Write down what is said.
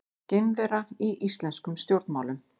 Geimvera í íslenskum stjórnmálum